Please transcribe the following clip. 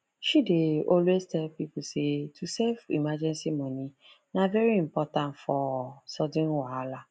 she dey always tell people say to save emergency money na very important for sudden wahala